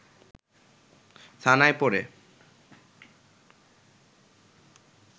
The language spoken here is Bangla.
থানায় পড়ে